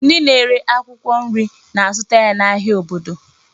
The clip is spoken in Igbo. Ndị na-ere akwụkwọ nri na-azụta ya n'ahịa obodo.